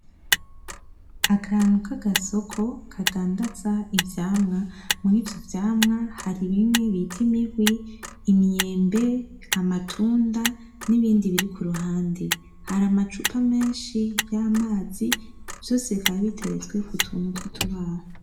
Akantu kagasoko kadandaza ivyamwa, muri ivyo vyamwa hari bimwe bita imihwi, imyembe, amatunda n'ibindi biri k'uruhande. Hari amacupa menshi y'amazi, vyose bikaba biteretswe k'utuntu twutubaho